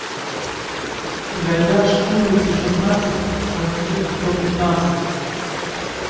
гайдаш улице шестнадцать в квартира сто пятнадцать